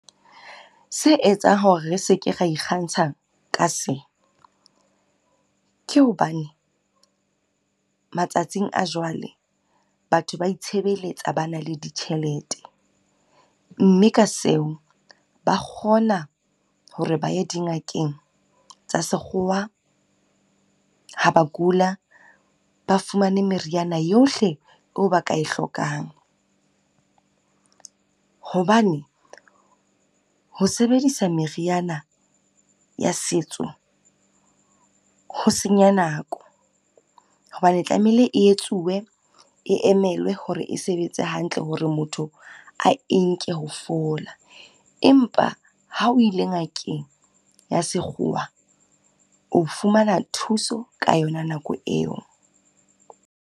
Se etsang hore re se ke re ikgantsha ka se, ke hobane matsatsing a jwale batho ba itshebeletsa ba na le ditjhelete. Mme ka seo ba kgona hore ba ye dingakeng tsa sekgowa ha ba kula. Ba fumane meriana yohle eo ba kae hlokang, hobane ho sebedisa meriana ya setso ho senya nako hobane tlamehile e etsuwe, e emelwe hore e sebetse hantle. Hore motho a enke ho fola, empa ha o ile ngakeng ya sekgowa, o fumana thuso ka yona nako eo.